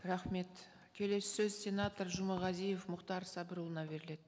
рахмет келесі сөз сенатор жұмағазиев мұхтар сабырұлына беріледі